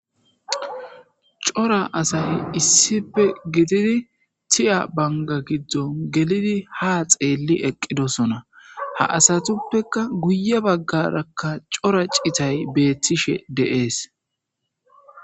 Cora asay issippe giididdi tiya bangga giddon Giddidi ha xeeli eqidosoona. Asatuppe guye baggarakka cora ciitay betishe de'es.